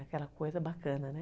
Aquela coisa bacana, né?